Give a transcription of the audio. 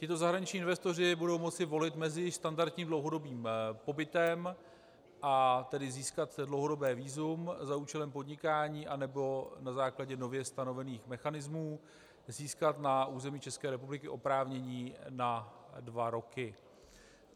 Tito zahraniční investoři budou moci volit mezi standardním dlouhodobým pobytem, a tedy získat dlouhodobé vízum za účelem podnikání, anebo na základě nově stanovených mechanismů získat na území České republiky oprávnění na dva roky.